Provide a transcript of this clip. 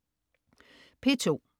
P2: